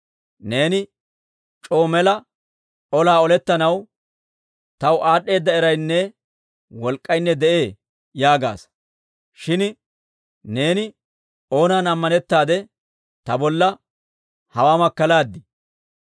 Neeni c'oo mela, ‹Olaa olettanaw taw aad'd'eeda eraynne wolk'k'aynne de'ee› yaagaasa. Shin neeni oonan ammanettaade ta bolla hawaa makkalaadii?